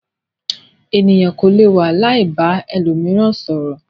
Ènìyàn kò lè wà láì ba ẹlòmíràn sọ̀rọ̀.